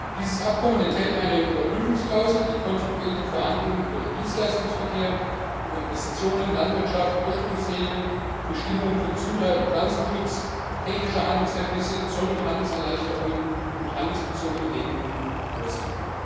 Dieses Abkommen enthält eine Überprüfungsklausel, die kontinuierliche Verhandlungen über den Dienstleistungsverkehr, über Investitionen, Landwirtschaft, Ursprungsregeln, Bestimmungen für Gesundheit und Pflanzenschutz, technische Handelshemmnisse, Zoll und Handelserleichterungen und handelsbezogene Regelungen vorsieht.